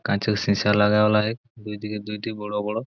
কাঁচের সীসা লাগা ওলা এক দুইদিকে দুইটি বড় বড়--